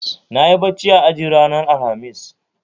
Nayi bacci a aji ranar Alhamis